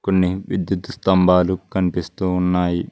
కొన్ని విద్యుత్ స్తంభాలు కనిపిస్తూ ఉన్నాయి.